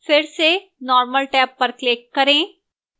फिर से normal tab पर click करें